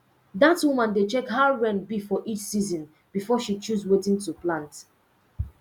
dat woman dey check how rain be for each season before she choose wetin to plant